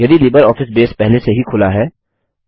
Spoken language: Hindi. यदि लिबरऑफिस बेस पहले से ही खुला है